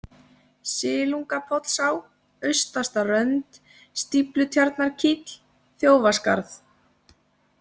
Silungapollsá, Austasta-Rönd, Stíflutjarnarkíll, Þjófaskarð